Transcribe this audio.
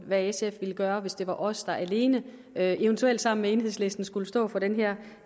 hvad sf ville gøre hvis det var os alene der eventuelt sammen med enhedslisten skulle stå for det der